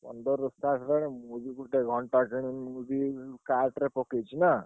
ପନ୍ଦରରୁ start ହେଲାଣି। ଗୋଟେ ଘଣ୍ଟା କିଣିବି ବୋଲିକି cart ପକେଇଛି ନା।